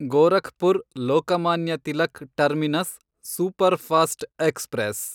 Gorakhpur Lokmanya Tilak terminus superfast express